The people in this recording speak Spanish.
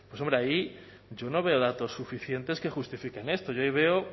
pues hombre ahí yo no voy a datos suficientes que justifiquen esto yo ahí veo